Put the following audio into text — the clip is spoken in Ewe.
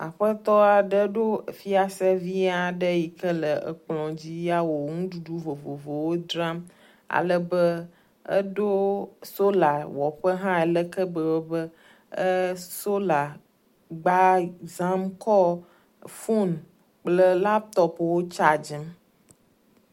Ŋutsu aɖe si nɔ anyi ɖe gota. Sola panel le egbɔ le zikpui legbe aɖe dzi. Nudzragba hã le ŋutsua gbɔ le gbadɔ te eye ŋutsua le laptɔp ɖe asi.